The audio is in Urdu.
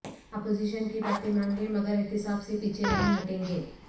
اپوزیشن کی باتیں مان لیں مگر احتساب سے پیچھے نہیں ہٹیں گے